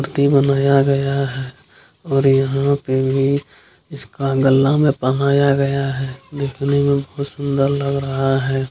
मूर्ति बनाया गया है और यहाँ पे भी इसका गला में पहनाया गया है। देखने में बहुत सुन्दर लग रहा है।